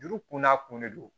Juru kun n'a kun de don